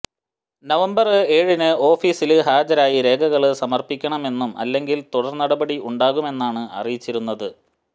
November ഏഴിന് ഓഫീസില് ഹാജരായി രേഖകള് സമര്പ്പിക്കണമെന്നും അല്ലെങ്കില് തുടര് നടപടി ഉണ്ടാകുമെന്നുമാണ് അറിയിച്ചിരുന്നത്